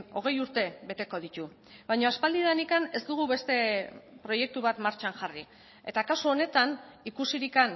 hogei urte beteko ditu baina aspaldidanik ez dugu beste proiektu bat martxan jarri eta kasu honetan ikusirik